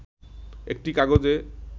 একটি কাগজে